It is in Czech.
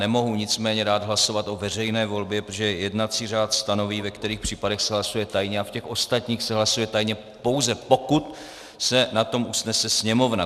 Nemohu nicméně dát hlasovat o veřejné volbě, protože jednací řád stanoví, ve kterých případech se hlasuje tajně, a v těch ostatních se hlasuje tajně, pouze pokud se na tom usnese Sněmovna.